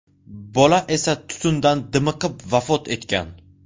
Bola esa tutundan dimiqib vafot etgan.